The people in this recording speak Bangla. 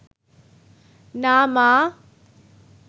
না মা